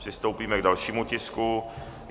Přistoupíme k dalšímu tisku.